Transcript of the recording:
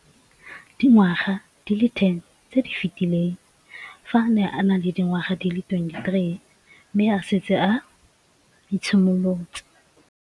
Dingwaga di le 10 tse di fetileng, fa a ne a le dingwaga di le 23 mme a setse a itshimoletse